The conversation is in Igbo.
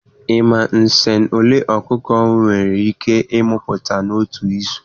Ị ma nsen ole ọkụkọ nwere ike ịtina n'otu izu?